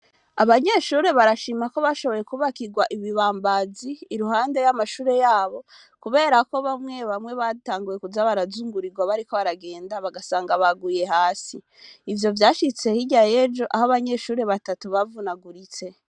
Abanyeshure barashima ko bashoboye kubakirwa ibibambazi iruhande y'amashure yabo, kubera ko bamwe bamwe batanguwe kuza barazungurirwa bariko baragenda bagasanga baguye hasi ivyo vyashitse hirya yejo aho abanyeshuri batatu bavunaguritse.